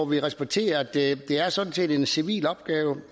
vi respekterer at det sådan set er en civil opgave